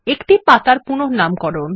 একটি পাতার পুনঃনামকরণ